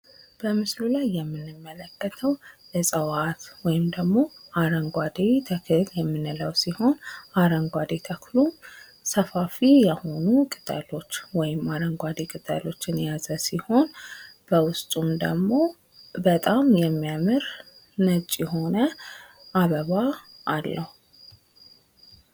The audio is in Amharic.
በምስሉ ላይ የምንመለከተው እፅዋት ወይም ደግሞ አረንጓዴ ተክለ የምንለው ሲሆነ አረንጓዴ ተክሉ ቅጠሉ ሰፋፊ የሆኑ ቅጠሎች አረንጓዴ ቅጠል የያዘ ሲሆን በውስጡ ደግሞ በጣም የሚያምርና ነጭ የሆነ አበባ አለው።